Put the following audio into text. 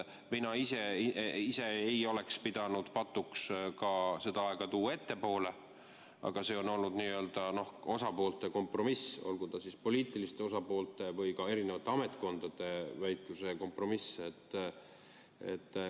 Mina ise ei oleks pidanud patuks ka seda aega tuua ettepoole, aga see on olnud n-ö osapoolte kompromiss, olgu siis poliitiliste osapoolte või ka eri ametkondade väitluse kompromiss.